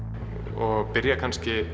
og byrja kannski